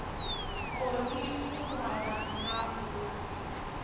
koni u ṅwala na u